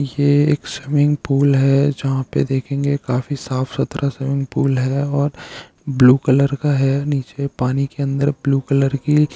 ये एक swimming pool है जहाँ पे देखेंगे काफी साफ सुथरा स्विमिंग पूल है और ब्लू कलर का है नीचे पानी की अंदर ब्लू कलर की --